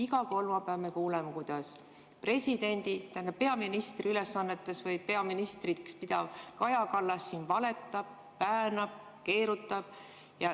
Iga kolmapäev me kuuleme, kuidas peaministri ülesannetes või peaministriks pidav Kaja Kallas siin valetab, väänab, keerutab.